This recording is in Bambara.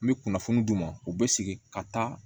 N bɛ kunnafoni d'u ma u bɛ sigi ka taa